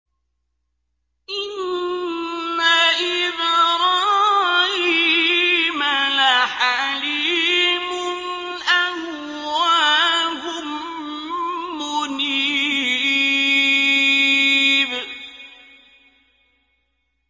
إِنَّ إِبْرَاهِيمَ لَحَلِيمٌ أَوَّاهٌ مُّنِيبٌ